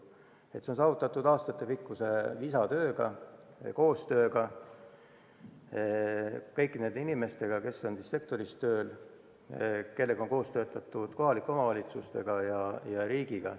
See on saavutatud aastatepikkuse visa tööga, koostöös kõigi nende inimestega, kes on sektoris tööl ja kellega on koos töötatud, koostöös kohalike omavalitsuste ja riigiga.